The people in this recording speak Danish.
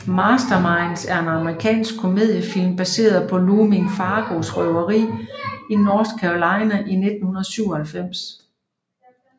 Masterminds er en amerikansk komediefilm baseret på Loomis Fargo røveriet i North Carolina i 1997